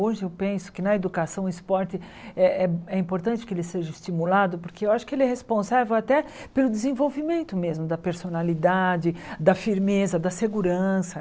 Hoje eu penso que na educação o esporte é é é importante que ele seja estimulado, porque eu acho que ele é responsável até pelo desenvolvimento mesmo, da personalidade, da firmeza, da segurança.